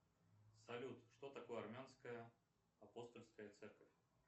салют что такое армянская апостольская церковь